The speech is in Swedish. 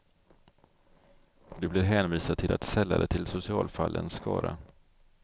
Du blir hänvisad till att sälla dig till socialfallens skara.